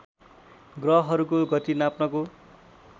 ग्रहहरूको गति नाप्नको